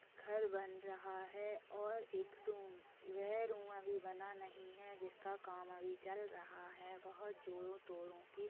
घर बन रहा है और एक रूम वह रूम अभी बना नहीं है जिसका काम अभी चल रहा है बोहोत जोरो टोरो की --